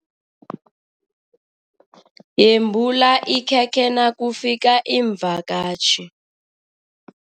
Yembula ikhekhe nakufika iimvakatjhi.